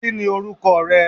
Kíni orúkọ rẹ?